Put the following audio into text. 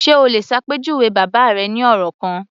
Ṣe o lè ṣàpèjúwe bàbá rẹ ní ọ̀rọ̀ kan?